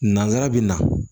Nanzara be na